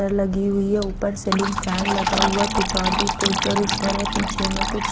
डर लगी हुई है ऊपर सीलिंग फैन लगा हुआ कुछ और भी पोस्टर वोस्टर है पीछे में कुछ--